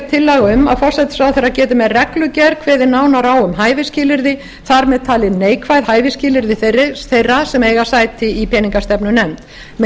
tillaga um að forsætisráðherra geti með reglugerð kveðið nánar á um hæfisskilyrði þar með talin neikvæð hæfisskilyrði þeirra sem eiga sæti í peningastefnunefnd með